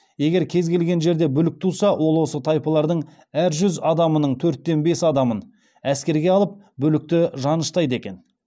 егер кез келген жерде бүлік туса ол осы тайпалардың әр жүз адамының төртте бес адамын әскерге алыпбүлікті жаныштайды екен